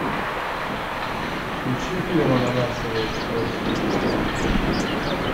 включи фильм ананасовый экспресс сижу курю